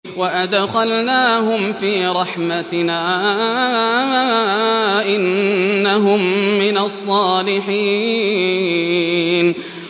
وَأَدْخَلْنَاهُمْ فِي رَحْمَتِنَا ۖ إِنَّهُم مِّنَ الصَّالِحِينَ